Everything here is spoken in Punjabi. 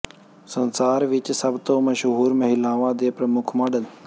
ਸੰਸਾਰ ਵਿੱਚ ਸਭ ਤੋਂ ਮਸ਼ਹੂਰ ਮਹਿਲਾਵਾਂ ਦੇ ਪ੍ਰਮੁੱਖ ਮਾਡਲ